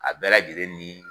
A bɛɛ lajɛlen ni